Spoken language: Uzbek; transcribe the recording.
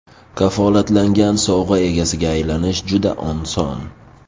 Kafolatlangan sovg‘a egasiga aylanish juda oson.